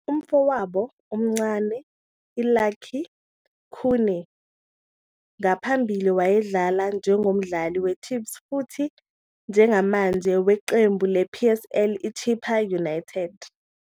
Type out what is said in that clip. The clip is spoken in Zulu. Umfowabo omncane I-Lucky Khune ngaphambili wayedlala njengomdlali we-Chiefs futhi njengamanje weqembu le-PSL I-Chippa United.